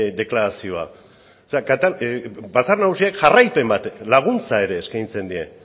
deklarazioa batzar nagusiek jarraipen bat laguntza ere eskaintzen die